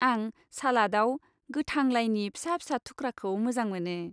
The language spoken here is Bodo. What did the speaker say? आं सालादआव गोथां लाइनि फिसा फिसा थुख्राखौ मोजां मोनो।